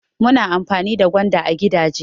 Ana amfani da gwanda a gigaje.